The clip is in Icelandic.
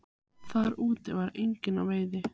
Þar úti fyrir var enginn á verði.